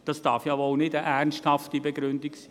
Das darf ja wohl nicht eine ernsthafte Begründung sein!